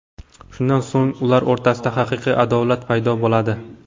Shundan so‘ng ular o‘rtasida haqiqiy adovat paydo bo‘ladi.